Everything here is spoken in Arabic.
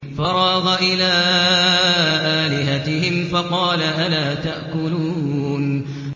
فَرَاغَ إِلَىٰ آلِهَتِهِمْ فَقَالَ أَلَا تَأْكُلُونَ